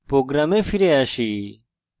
program ফিরে আসি